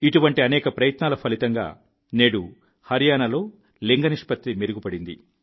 ఇటువంటి అనేక ప్రయత్నాల ఫలితంగా నేడు హర్యానాలో లింగ నిష్పత్తి మెరుగుపడింది